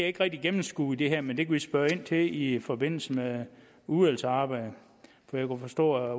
ikke rigtig gennemskue i det her men det kan vi spørge ind til i forbindelse med udvalgsarbejdet for jeg kunne forstå at